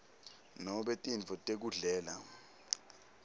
nobe tintfo tekudlela